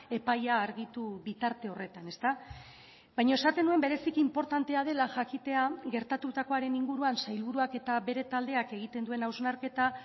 epaia argitu bitarte horretan baina esaten nuen bereziki inportantea dela jakitea gertatutakoaren inguruan sailburuak eta bere taldeak egiten duen hausnarketa